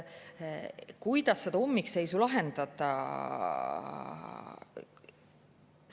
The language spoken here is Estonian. Kuidas seda ummikseisu lahendada?